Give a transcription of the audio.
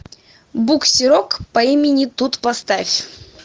буксерок по имени тут поставь